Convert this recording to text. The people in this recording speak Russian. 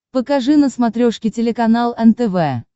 покажи на смотрешке телеканал нтв